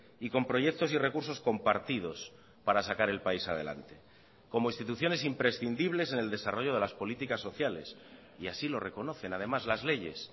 y con proyectos y recursos compartidos para sacar el país adelante como instituciones imprescindibles en el desarrollo de las políticas sociales y así lo reconocen además las leyes